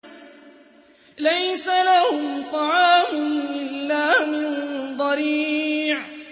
لَّيْسَ لَهُمْ طَعَامٌ إِلَّا مِن ضَرِيعٍ